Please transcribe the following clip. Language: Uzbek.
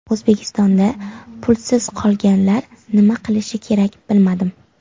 O‘zbekistonda pulsiz qolganlar nima qilishi kerak bilmadim.